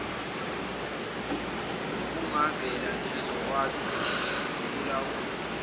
okungavela nezokwazi ukukulawula